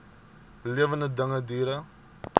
lewende dinge diere